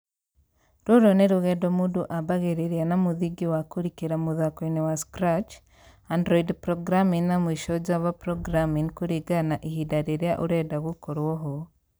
Rũrũ nĩrũgendo mũndũ ambagĩrĩria na mũthingi wa kũrikĩra mũthakoinĩ wa Scratch, Android programming na mũisho java programming kũringana na ihinda rĩrĩa ũrenda gũkorwo ho